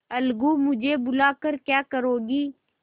अलगूमुझे बुला कर क्या करोगी